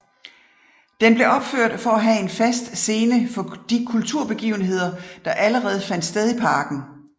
Den blev opført for at have en fast scene for de kulturbegivenheder der allerede fandt sted i parken